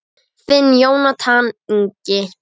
Þinn Jónatan Ingi.